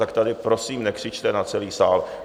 Tak tady prosím nekřičte na celý sál.